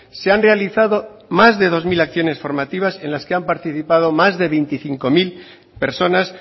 se han realizado más de dos mil acciones formativas en las que han participado más de veinticinco mil personas